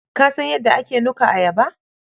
Ka san ydda ake nuka ayaba?